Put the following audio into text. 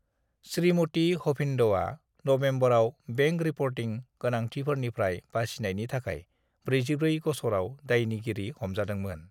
श्रीमती हभिन्दआ नभेम्बराव बेंक-रिपर्टिं गोनांथिफोरनिफ्राय बासिनायनि थाखाय 44 गसराव दायनिगिरि हमजादोंमोन।